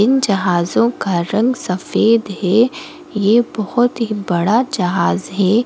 इन जहाजों का रंग सफेद है यह बहुत ही बड़ा जहाज है ।